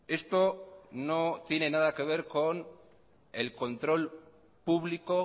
esto no tiene nada que ver con el control público